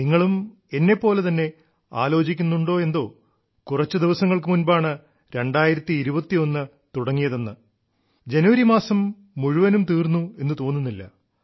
നിങ്ങളും എന്നെപ്പോലെ തന്നെ ആലോചിക്കുന്നുണ്ടോ എന്തോ കുറച്ചു ദിവസങ്ങൾക്കു മുൻപാണ് 2021 തുടങ്ങിയതെന്ന് ജനുവരി മാസം മുഴുവനും തീർന്നെന്നു തോന്നുന്നില്ല